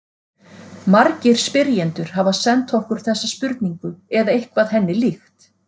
Margir spyrjendur hafa sent okkur þessa spurningu eða eitthvað henni líkt.